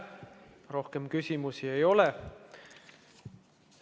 Rohkem küsimusi ei ole.